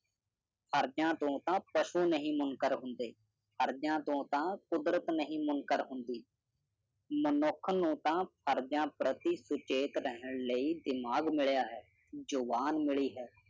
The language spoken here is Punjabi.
ਹਰਦਿਆਂ ਤੋਂ ਤਾਂ ਪੁਸ਼ੂ ਨਹੀਂ ਮੁਨਕਰ ਹੁੰਦੇ, ਹਰਦਿਆਂ ਤੋਂ ਤਾਂ ਕੁਦਰਤ ਨਹੀਂ ਮੁਨਕਰ ਹੁੰਦੀ। ਮਨੁੱਖ ਨੂੰ ਤਾਂ ਹਰਦਿਆਂ ਪ੍ਰਤੀ ਸੁਚੇਤ ਰਹਿਣ ਲਈ ਦਿਮਾਗ ਮਿਲਿਆ ਹੈ ਜੁਬਾਨ ਮਿਲੀ ਹੈ